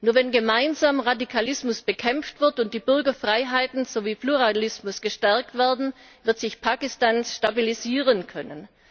Nur wenn gemeinsam Radikalismus bekämpft wird und die Bürgerfreiheiten sowie Pluralismus gestärkt werden, wird sich Pakistan stabilisieren können.